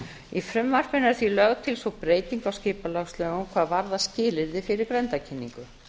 í frumvarpinu er því lögð til sú breyting á skipulagslögum hvað varðar skilyrði fyrir grenndarkynningu